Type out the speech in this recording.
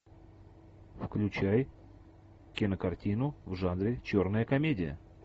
включай кинокартину в жанре черная комедия